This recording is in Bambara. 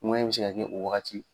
Ŋuwɛɲɛ in bɛ se ka kɛ o wagati.